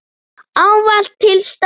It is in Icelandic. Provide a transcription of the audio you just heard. Ávallt til staðar.